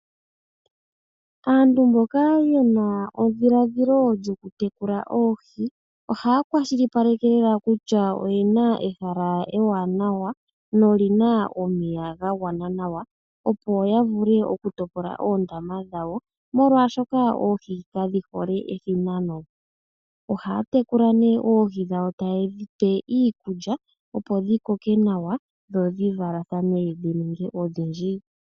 Aantu mboka ye na edhiladhilo lyokutekula oohi ohaya kwashilipaleke kutya oye na ehala ewanawa noli na omeya ga gwana nawa, opo ya vule okutopola oondama dhawo, molwashoka oohi kadhi hole ethinano. Ohaa tekula nee oohi dhawo taye dhi pe iikulya, opo dhi koke nawa dho dhi valathane dhi ninge odhindji.